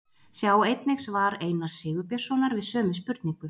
Sjá einnig svar Einars Sigurbjörnssonar við sömu spurningu.